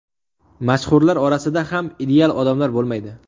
Mashhurlar orasida ham ideal odamlar bo‘lmaydi.